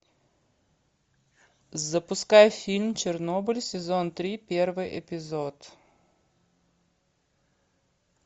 запускай фильм чернобыль сезон три первый эпизод